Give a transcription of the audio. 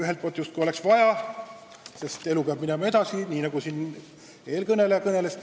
Ühelt poolt justkui oleks vaja, sest elu peab edasi minema, nii nagu eelkõneleja kõneles.